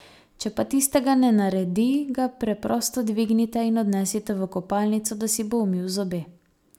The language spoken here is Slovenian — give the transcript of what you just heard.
Če pa tistega ne naredi, ga preprosto dvignite in odnesite v kopalnico, da si bo umil zobe.